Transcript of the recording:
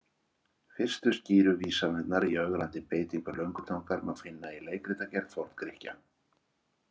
Fyrstu skýru vísanirnar í ögrandi beitingu löngutangar má finna í leikritagerð Forn-Grikkja.